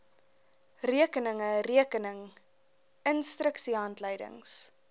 rekeninge rekening instruksiehandleidings